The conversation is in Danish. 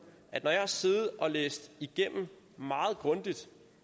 når jeg har siddet og læst igennem